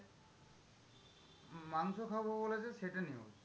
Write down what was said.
মাংস খাবো বলেছে সেটা news.